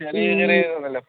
ചെറിയ ചെറിയ ഇതൊന്നല്ല